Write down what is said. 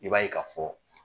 I b'a ye ka fɔ